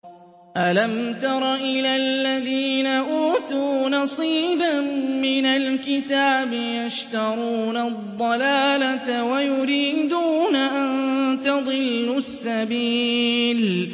أَلَمْ تَرَ إِلَى الَّذِينَ أُوتُوا نَصِيبًا مِّنَ الْكِتَابِ يَشْتَرُونَ الضَّلَالَةَ وَيُرِيدُونَ أَن تَضِلُّوا السَّبِيلَ